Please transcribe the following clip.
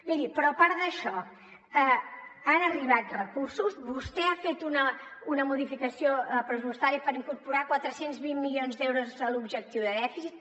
miri però a part d’això han arribat recursos vostè ha fet una modificació pressupostària per incorporar quatre cents i vint milions d’euros a l’objectiu de dèficit